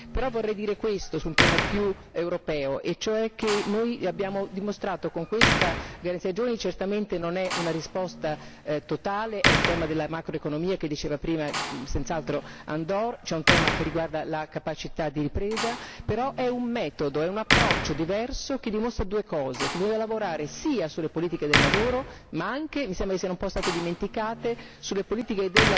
Però vorrei dire questo su un piano più europeo, e cioè che noi abbiamo dimostrato con questa garanzia ai giovani certamente non è una risposta totale, è il tema della macroeconomia che diceva prima senz'altro Andor, cioè un tema che riguarda la capacità di ripresa però è un metodo, un approccio diverso che dimostra due cose che bisogna lavorare sia sulle politiche del lavoro, ma anche, e mi sembra che siano state un po' dimenticate, sulle politiche